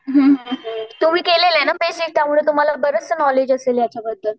हुं हुं हुं तुम्ही केलेले ना बेसिक त्यामुळे तुम्हाला बरचसं नॉलेज असेल याच्याबद्दल.